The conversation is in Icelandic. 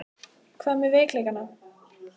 Hvað með veikleikana?